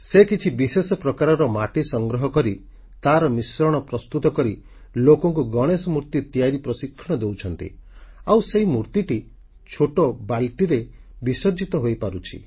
ସେ କିଛି ବିଶେଷ ପ୍ରକାରର ମାଟି ସଂଗ୍ରହ କରି ତାର ମିଶ୍ରଣ ପ୍ରସ୍ତୁତ କରି ଲୋକଙ୍କୁ ଗଣେଶ ମୂର୍ତ୍ତି ତିଆରି ପ୍ରଶିକ୍ଷଣ ଦେଉଛନ୍ତି ଆଉ ସେହି ମୂର୍ତ୍ତିଟି ଛୋଟ ବାଲଟିରେ ବିସର୍ଜିତ ହୋଇପାରୁଛି